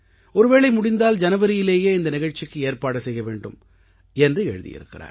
ஒருவேளை முடிந்தால் ஜனவரியிலேயே இந்த நிகழ்ச்சிக்கு ஏற்பாடு செய்ய வேண்டும் என்று எழுதியிருக்கிறார்